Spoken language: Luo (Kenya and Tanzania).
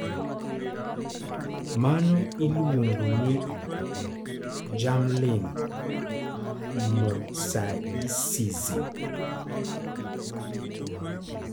Mano iluongo ni germline mosaicism.